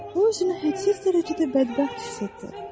O özünü hədsiz dərəcədə bədbəxt hiss etdi.